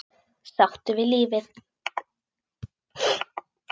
Sáttur við lífið.